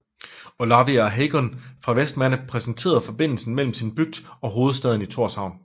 Olavi á Heygum fra Vestmanna præsenterede forbindelsen mellem sin bygd og hovedstaden Tórshavn